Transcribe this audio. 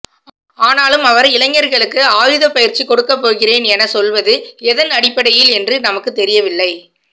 ஆனாலும் அவர் இளைஞர்களுக்கு ஆயுத பயிற்சி கொடுக்க போகிறேன் என சொல்வது எதன் அடிப்படையில் என்று நமக்கு தெரியவில்லை